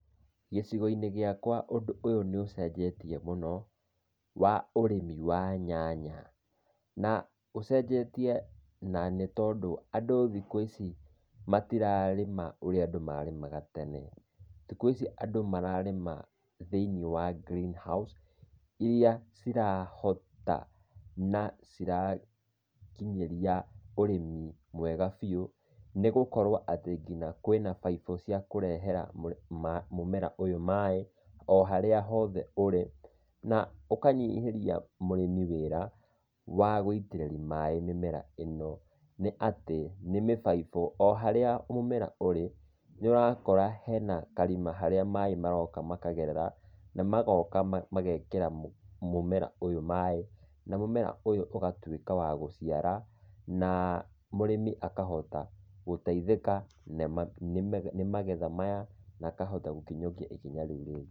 Gĩcigo-inĩ gĩakwa ũndũ ũyũ nĩ ũcenjetie mũno, wa ũrĩmi wa nyanya, na ũcenjetie na nĩ tondũ, andũ thikũ ici matĩrarĩma ũrĩa andũ marĩmaga tene. Thikũ ici andũ mararĩma thĩiniĩ wa green house, iria cirahota na cirakinyĩria, ũrĩmi mwega biũ, nĩgũkorwo atĩ kinya kwĩna faifu cia kũrehera mũmera ũyũ maĩ, o harĩa hothe ũrĩ. Na ũkanyihĩrĩa mũrĩmi wĩra, wa gũitĩrĩria maĩ mĩmera ĩno. Nĩ atĩ, nĩ mĩfaifũ o harĩa mũmera ũrĩ, nĩ ũrakora hena karima harĩa maĩ maroka makagererera, na magoka magekĩra mũmera ũyũ maĩ, na mũmera ũyũ ũgatuĩka wa gũciara, na mũrĩmi akahota gũteithaĩka, nĩ magetha maya, na akahota gũkinyũkia ikinya rĩu rĩngĩ.